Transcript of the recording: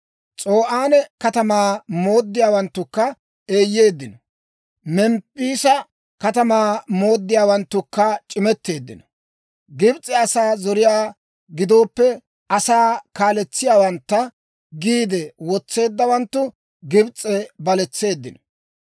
S'o'aane katamaa mooddiyaawanttukka eeyyeeddino; Memppiisa katamaa mooddiyaawanttukka c'imetteeddino. Gibs'e asaa zariyaa giddoppe asaa kaaletsiyaawantta giide wotseeddawanttu Gibs'e baletseeddino.